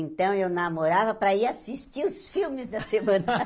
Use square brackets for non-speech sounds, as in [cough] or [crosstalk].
Então, eu namorava para ir assistir os filmes da semana. [laughs]